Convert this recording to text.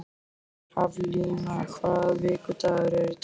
Haflína, hvaða vikudagur er í dag?